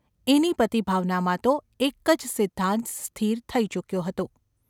એની પતિભાવનામાં તો એક જ સિદ્ધાંત સ્થિર થઈ ચૂક્યો હતો.